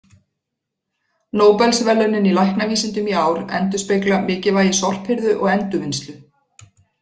Nóbelsverðlaunin í læknavísindum í ár endurspegla mikilvægi sorphirðu og endurvinnslu.